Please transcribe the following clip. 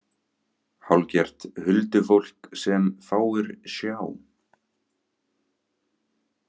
Hálfgert huldufólk sem fáir sjá.